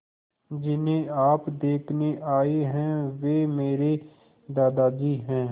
जिन्हें आप देखने आए हैं वे मेरे दादाजी हैं